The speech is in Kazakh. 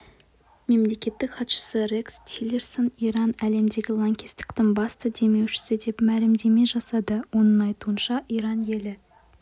мемлекеттік хатшысы рекс тиллерсон иран әлемдегі лаңкестіктің басты демеушісі деп мәлімдеме жасады оның айтуынша иран елі